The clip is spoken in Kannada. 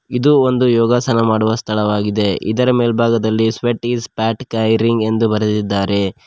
ಇದು ಒಂದು ಯೋಗಾಸನ ಮಾಡುವ ಸ್ಥಳವಾಗಿದೆ ಇದರ ಮೇಲ್ಭಾಗದಲ್ಲಿ ಸ್ವೇಟ್ ಇಸ್ ಫ್ಯಾಟ್ ಕ್ಯರಿಂಗ್ ಎಂದು ಬರೆದಿದ್ದಾರೆ.